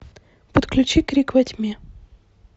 подключи крик во тьме